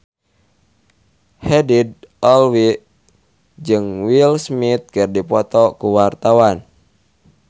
Haddad Alwi jeung Will Smith keur dipoto ku wartawan